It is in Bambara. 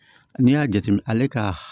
N'i y'a jateminɛ ale ka